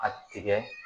A tigɛ